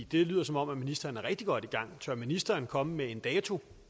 det lyder som om ministeren er rigtig godt i gang tør ministeren komme med en dato